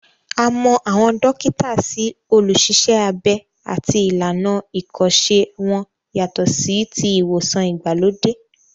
A mọ àwọn dókítà sí olùṣiṣẹ́-abẹ àti ìlànà ìkọ́ṣẹ́ wọn yàtọ̀ sí ti ìwòsàn ìgbàlódé